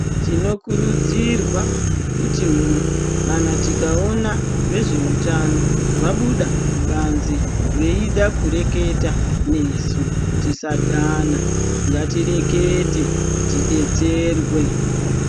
Tinokurudzwirwa kutiwo kana tikaona vezveutano vabuda kubanze veida kureketa nesu tisadhane, ngatirekete tidetserwe.